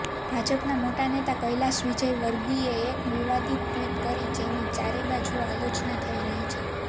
ભાજપના મોટા નેતા કૈલાશ વિજયવર્ગીયે એક વિવાદિત ટ્વીટ કરી જેની ચારેયબાજુ આલોચના થઈ રહી છે